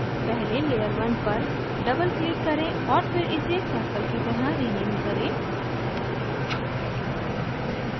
पहले layer 1 पर double click करें और फिर इसे circle की तरह रीनेम करें